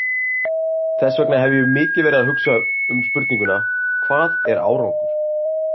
Þess vegna hef ég mikið verið að hugsa um spurninguna, hvað er árangur?